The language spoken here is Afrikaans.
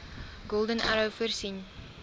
golden arrow voorsien